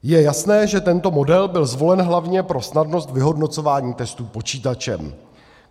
Je jasné, že tento model byl zvolen hlavně pro snadnost vyhodnocování testů počítačem.